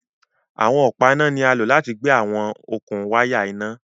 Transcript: Awọn ọpa ina ni a lo lati gbe awọn okun waya ina